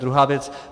Druhá věc.